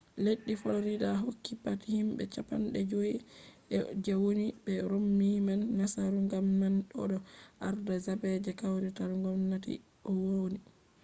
leddi florida hokki pat himɓe cappanɗe joi je woni be romni man nasaru gam man o ɗo arda zaɓe je kawrital gomnati o woni